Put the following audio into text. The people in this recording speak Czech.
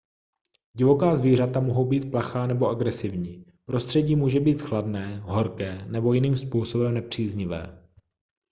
divoká zvířata mohou být plachá nebo agresivní prostředí může být chladné horké nebo jiným způsobem nepříznivé